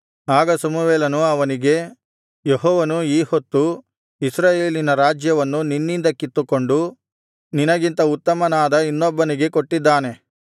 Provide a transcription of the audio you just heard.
ಆಗ ಸಮುವೇಲನು ಅವನಿಗೆ ಯೆಹೋವನು ಈ ಹೊತ್ತು ಇಸ್ರಾಯೇಲಿನ ರಾಜ್ಯವನ್ನು ನಿನ್ನಿಂದ ಕಿತ್ತುಕೊಂಡು ನಿನಗಿಂತ ಉತ್ತಮನಾದ ಇನ್ನೊಬ್ಬನಿಗೆ ಕೊಟ್ಟಿದ್ದಾನೆ